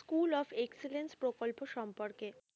School of excellence প্রকল্প সম্পর্কে।